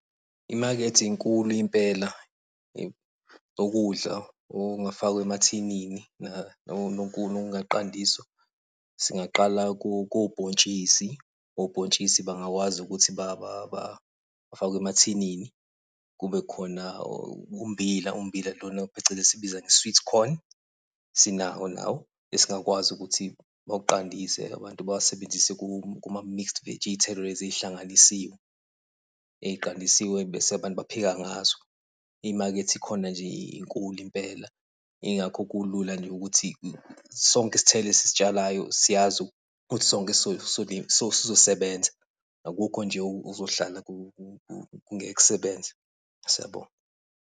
Imakethe inkulu impela okudla okungafakwa emathinini okungaqandiswa. Singaqala kobhontshisi, obhontshisi bangakwazi ukuthi bafakwe emathinini, kube khona ummbila, ummbila lona phecelezi sikubiza nge-sweet corn. Sinawo nawo, esingakwazi ukuthi bawuqandise abantu bawasebenzise kuma-mixed veggie, iy'thelo lezi ey'hlanganisiwe, ey'qandisiwe bese abantu bapheka ngazo. Imakethe ikhona nje inkulu impela. Yingakho kulula nje ukuthi sonke isithelo esisitshalayo siyazi ukuthi sonke sizosebenza, akukho nje okuzohlala kungeke kusebenze.